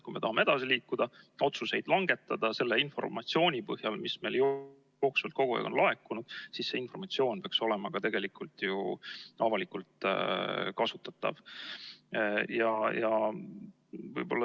Kui me tahame edasi liikuda, otsuseid langetada selle informatsiooni põhjal, mis meile jooksvalt kogu aeg on laekunud, siis see informatsioon peaks olema tegelikult ju avalikult kasutatav.